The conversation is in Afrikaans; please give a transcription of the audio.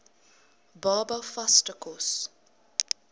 baba vaste kos